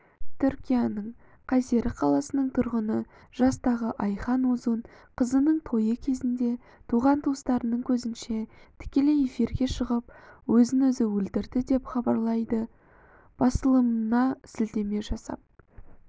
түркияның кайсери қаласының тұрғыны жастағыайхан озун қызының тойы кезінде туған-туысқандарының көзінше тікелей эфирге шығып өз-өзін өлтірді деп хабарлайды басылымына сілтеме жасап